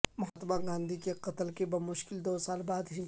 مہاتما گاندھی کے قتل کے بمشکل دو سال بعد ہی